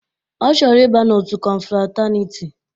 Ọ chọrọ ịba n'otu kọnfrataniti